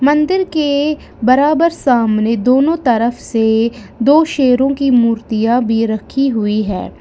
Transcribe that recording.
मंदिर के बराबर सामने दोनों तरफ से दो शेरों की मूर्तियां भी रखी हुई है।